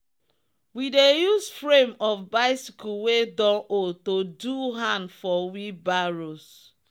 we dey use frame of bicycle wey don old to do hand for wheelbarrows.